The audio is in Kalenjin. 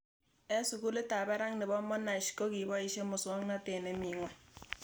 Eng' sukulit ab parak nepo Monash ko poishe muswog'natet nemii ng'weny